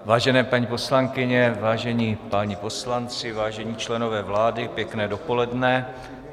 Vážené paní poslankyně, vážení páni poslanci, vážení členové vlády, pěkné dopoledne.